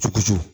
Tukusu